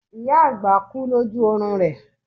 ìyá àgbà kú loju oorun rẹ